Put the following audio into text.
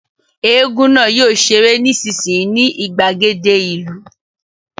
Égún náà yóò ṣeré nísinsìnyí ní ìgbàgede ìlú